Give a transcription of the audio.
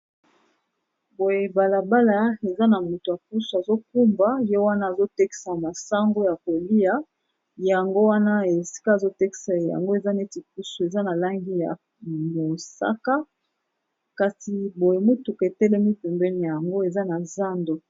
Boye balabala eza na moto kusu azokumba yo wana azotekisa masambo ya kolia yango wana esika azotekisa yango eza neti kusu eza na lange ya mosaka kasi boye mutuka etelemi pembeni yango eza na zando.